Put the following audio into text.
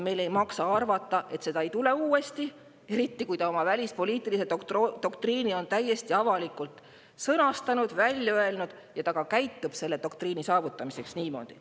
Meil ei maksa arvata, et seda ei tule uuesti, eriti kui ta oma välispoliitilise doktriini on täiesti avalikult sõnastanud, välja öelnud, ja ka käitub selle doktriini saavutamiseks niimoodi.